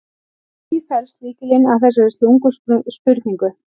Í því felst lykillinn að þessari slungnu spurningu.